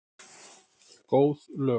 Góð lög.